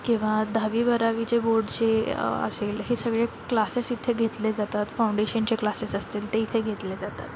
किवा दहावी बारावी चे बोर्डचे अ आशेल हे सगळे क्लासेस इथे घेतले जातात फाउंडेशनचे क्लासेस असतील ते इथे घेतले जातात.